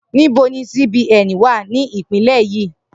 Nibo ni CBN wa ni ipinle yii?